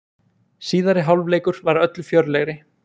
Síðari hálfleikur var öllu fjörlegri.